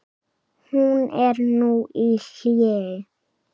Hún er nú í hléi.